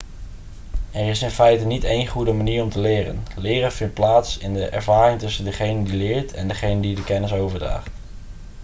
er is in feite niet één goede manier om te leren leren vindt plaats in de ervaring tussen degene die leert en degene die de kennis overdraagt